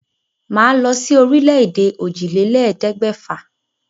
Màá lọ sí orílẹ̀-èdè òjìlélẹ̀ẹ́dẹ́gbẹ̀fà.